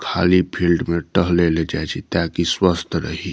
खाली फील्ड में टहले ले जाय छी ताकि स्वस्थ रही।